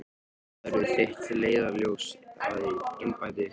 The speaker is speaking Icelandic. Hvað verður þitt leiðarljós í embætti?